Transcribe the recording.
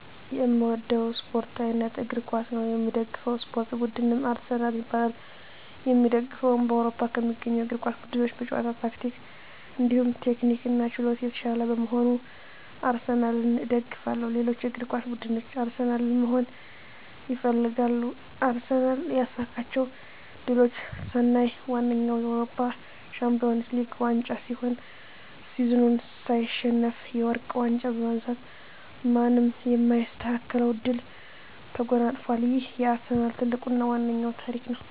የእምወደዉ የእስፖርት አይነት እግር ኳስ ነዉ። የምደግፈዉ የእስፖርት ቡድንም አርሰናል ይባላል። የእምደግፈዉም በአዉሮፖ ከሚገኙ የእግር ኳስ ቡድኖች በጨዋታ ታክቲክ እንዲሁም ቴክኒክና ችሎታ የታሻለ በመሆኑ አርሰናልን እደግፋለሁ። ሌሎች እግር ኳስ ብድኖች አርሰናልን መሆን ይፈልጋሉ። አርሰናል ያሳካቸዉ ድሎች ስናይ ዋነኛዉ የአዉሮፖ ሻንፒወንስ ሊግ ዋንጫ ሲሆን ሲዝኑን ሳይሸነፍ የወርቅ ዋንጫ በማንሳት ማንም የማይስተካከለዉን ድል ተጎናፅፋል ይሄም የአርሰናል ትልቁና ዋናዉ ታሪክ ነዉ።